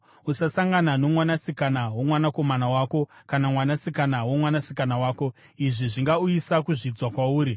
“ ‘Usasangana nomwanasikana womwanakomana wako kana mwanasikana womwanasikana wako; izvi zvingauyisa kuzvidzwa kwauri.